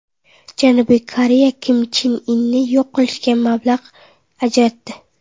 Janubiy Koreya Kim Chen Inni yo‘q qilishga mablag‘ ajratdi.